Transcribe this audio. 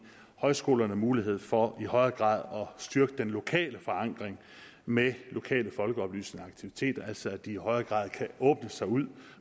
højskolerne mulighed for i højere grad at styrke den lokale forankring med lokale folkeoplysende aktiviteter altså det at de i højere grad kan åbne sig ud